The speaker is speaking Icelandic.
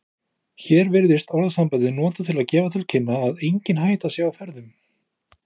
Hér virðist orðasambandið notað til að gefa til kynna að engin hætta sé á ferðum.